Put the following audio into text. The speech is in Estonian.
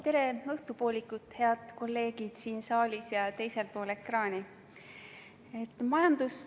Tere õhtupoolikut, head kolleegid siin saalis ja teisel pool ekraani!